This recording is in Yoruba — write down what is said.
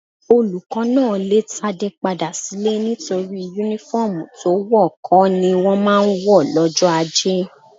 Olùkọ́ náà lè Tádé padà sílé nítorí Únífọ́ọ̀mù tí wọ̀ kọ́ ni wọ́n máa ń wọ̀ lọ́jọ́ ajé